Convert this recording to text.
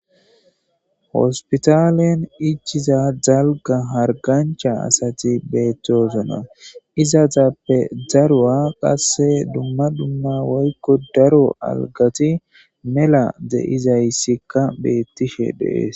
hospitalen ichiza dalga hargancha asati beettoosona izazappe zaruwa qasse dumma dumma woykko daro algati mela de7izayssikka beettishe deees